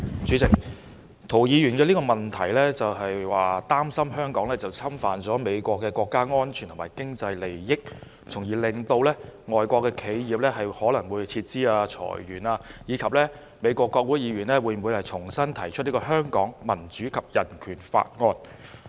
主席，涂議員的質詢是擔心香港侵犯了美國的國家安全及經濟利益，從而令到外國企業可能會撤資、裁員，以及美國國會議員會否重新提出《香港民主及人權法案》。